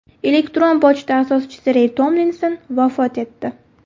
Elektron pochta asoschisi Rey Tomlinson vafot etdi.